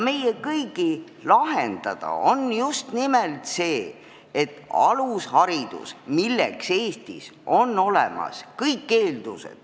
Meie kõigi lahendada on just nimelt see, et palju rohkem lapsi saaks väga hea alguse tervele oma eluteele.